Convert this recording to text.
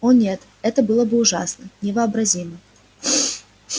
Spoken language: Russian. о нет это было бы ужасно невообразимо